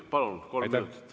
Palun, kolm minutit!